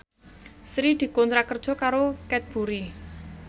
Sri dikontrak kerja karo Cadbury